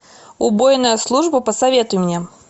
убойная служба посоветуй мне